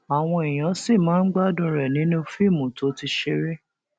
àwọn èèyàn sì máa ń gbádùn rẹ nínú fíìmù tó ti ṣeré